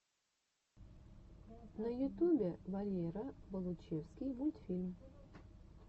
на ютубе валера болучевский мультфильм